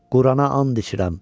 Qurana and içirəm!